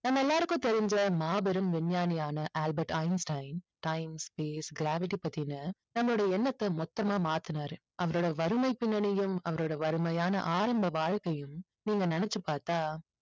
நம்ம எல்லாருக்கும் தெரிஞ்ச மாபெரும் விஞ்ஞானியான Albert Einstein science, space, gravity பத்தின நம்முடைய எண்ணத்தை மொத்தமா மாத்துனாரு. அவரோட வறுமை பின்னணியும் அவருடைய வறுமையான ஆரம்ப வாழ்க்கையும் நீங்க நினைச்சு பார்த்தா